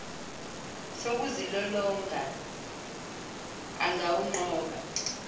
sokuzilolonga an gawunqoba